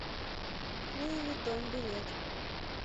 луи виттон билет